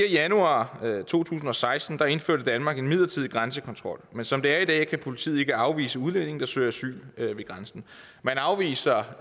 januar to tusind og seksten indførte danmark en midlertidig grænsekontrol men som det er i dag kan politiet ikke afvise udlændinge der søger asyl ved grænsen man afviser